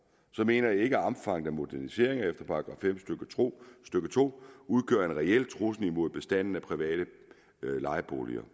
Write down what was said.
så mener jeg ikke at omfanget af moderniseringer efter § fem stykke to udgør en reel trussel mod bestanden af private lejeboliger